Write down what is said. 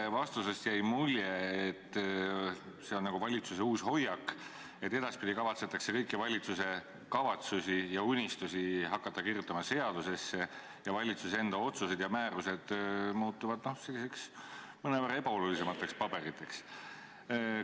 Teie vastusest jäi mulje, et see on nagu valitsuse uus hoiak, et edaspidi kavatsetakse kõiki valitsuse kavatsusi ja unistusi hakata kirjutama seadusesse ja valitsuse otsused ja määrused muutuvad sellisteks mõnevõrra ebaolulisemateks paberiteks.